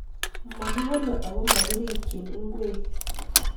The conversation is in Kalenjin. Mokibole ago mokirikyin ing'wek.